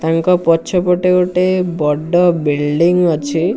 ତାଙ୍କ ପଛ ପଟେ ଗୋଟେ ବଡ଼ ବିଲିଡିଙ୍ଗ ଅଛି।